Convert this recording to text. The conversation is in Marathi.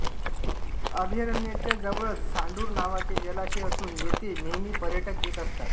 अभयारण्याच्या जवळच सांढूर नावाचे जलाशय असून येथे नेहमी पर्यटक येत असतात